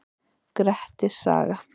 Grettis saga.